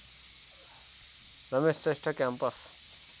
Ramesh Shrestha campus